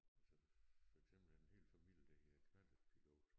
Altså for eksempel en hel familie der hedder knallertpilot